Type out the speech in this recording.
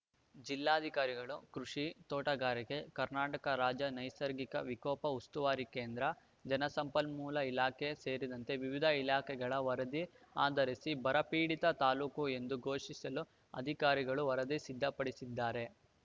ಜಿಲ್ಲಾಧಿಕಾರಿಗಳು ಕೃಷಿ ತೋಟಗಾರಿಕೆ ಕರ್ನಾಟಕ ರಾಜ್ಯ ನೈಸರ್ಗಿಕ ವಿಕೋಪ ಉಸ್ತುವಾರಿ ಕೇಂದ್ರ ಜಲಸಂಪನ್ಮೂಲ ಇಲಾಖೆ ಸೇರಿದಂತೆ ವಿವಿಧ ಇಲಾಖೆಗಳ ವರದಿ ಆಧರಿಸಿ ಬರ ಪೀಡಿತ ತಾಲೂಕು ಎಂದು ಘೋಷಿಸಲು ಅಧಿಕಾರಿಗಳು ವರದಿ ಸಿದ್ಧಪಡಿಸಿದ್ದಾರೆ